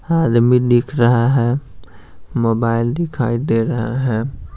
आदमी दिख रहा है मोबाइल दिखाई दे रहा है।